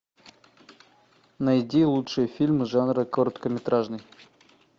найди лучшие фильмы жанра короткометражный